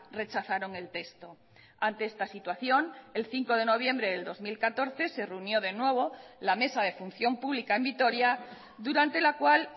rechazaron el texto ante esta situación el cinco de noviembre del dos mil catorce se reunió de nuevo la mesa de función pública en vitoria durante la cual